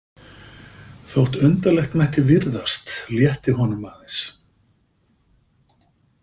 Þótt undarlegt mætti virðast létti honum aðeins.